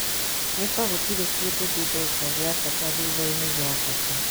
Ni ta gũtiri kindũ ndi ndĩĩka gia bata thutha-ini gia bata.